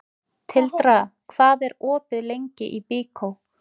Tildra, hvað er opið lengi í Byko?